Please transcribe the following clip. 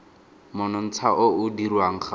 monontsha o o dirwang ga